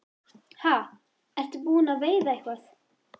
Ha, ertu búinn að veiða eitthvað?